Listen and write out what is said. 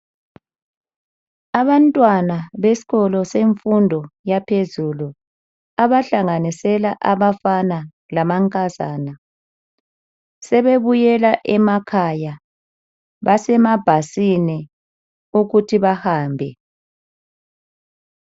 Abantwana besikolo semfundo yaphezulu abahlanganisela abafana lamankazana. Sebebuyela emakhaya Basemabhasini ukuthi bahambe